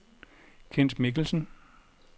Kent Michelsen